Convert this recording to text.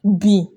Bin